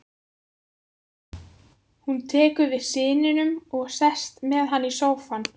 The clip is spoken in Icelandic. Hún tekur við syninum og sest með hann í sófann.